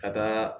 Ka taa